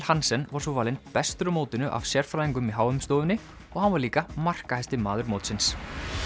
Hansen var svo valinn bestur á mótinu af sérfræðingunum í h m stofunni og hann var líka markahæsti maður mótsins